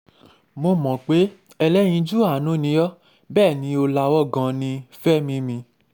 mo mọ pe ẹlẹyinju aanu ni ọ bẹẹni o lawọ gan-an ni, Fẹmi mi